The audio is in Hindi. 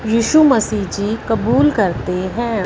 यीशु मसीह जी की कबूल करते हैं।